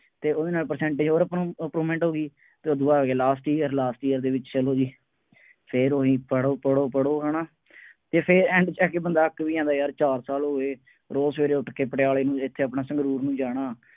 ਅਤੇ ਉਹਦੇ ਨਾਲ percentage ਹੋਰ improvement improvement ਹੋ ਗਈ ਅਤੇ ਉਹ ਦੂ ਬਾਅਦ ਆ ਗਿਆ last year ਦੇ ਵਿੱਚ, ਚੱਲੋ ਜੀ, ਫੇਰ ਉਹੀ ਪੜੋ ਪੜੋ ਪੜੋ ਹੈ ਨਾ, ਅਤੇ ਫੇਰ end ਤੇ ਆ ਕੇ ਬੰਦਾ ਅੱਕ ਵੀ ਜਾਂਦਾ ਯਾਰ, ਚਾਰ ਸਾਲ ਹੋ ਗਏ, ਰੋਜ਼ ਸਵੇਰੇ ਉੱਠ ਕੇ ਪਟਿਆਲੇ ਨੂੰ ਦੇਖਿਆ ਆਪਣਾ ਸੰਗਰੂਰ ਨੂੰ ਜਾਣਾ,